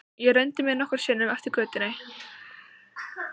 Ég renndi mér nokkrum sinnum eftir götunni.